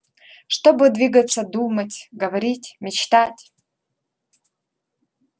чтобы двигаться думать говорить мечтать